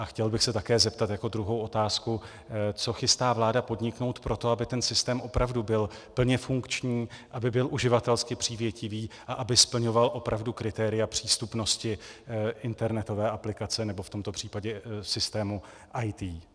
A chtěl bych se také zeptat, jako druhou otázku, co chystá vláda podniknout pro to, aby ten systém opravdu byl plně funkční, aby byl uživatelsky přívětivý a aby splňoval opravdu kritéria přístupnosti internetové aplikace, nebo v tomto případě systému IT.